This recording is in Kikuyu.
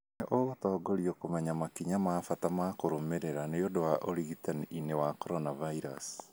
Nĩ ũgũtongorio kũmenya makinya ma bata ma kũrũmĩrĩra niũndũ wa ũrigitani-inĩ wa coronavirusi